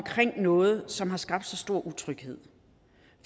noget som har skabt stor så utryghed